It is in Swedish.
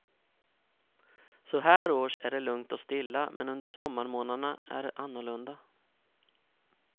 Så här års är det lugnt och stilla men under sommarmånaderna är det annorlunda.